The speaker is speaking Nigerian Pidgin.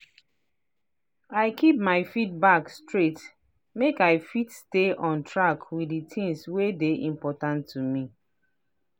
i keep my feedback straight make i fit stay on track with the things wey dey important to me.